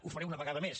ho faré una vegada més